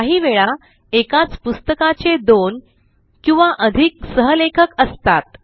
काही वेळा एकाच पुस्तकाचे दोन किंवा अधिक सहलेखक असतात